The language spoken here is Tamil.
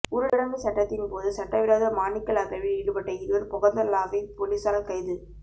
ஊரடங்கு சட்டத்தின் போது சட்டவிரோத மாணிக்கல் அகழ்வில் ஈடுபட்ட இருவர் பொகவந்தலாவை பொலிஸாரல் கைது